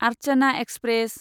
Archana express